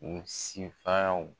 U si